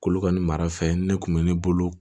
K'olu ka nin mara fɛn ne kun bɛ ne bolo